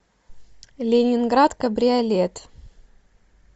ленинград кабриолет